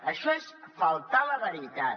això és faltar a la veritat